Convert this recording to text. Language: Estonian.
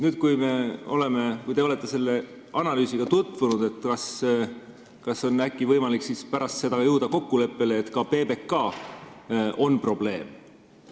" Kas pärast seda, kui te olete selle analüüsiga jõudnud tutvuda, on äkki võimalik jõuda kokkuleppele, et ka PBK on probleem?